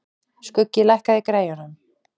Skuggi, lækkaðu í græjunum.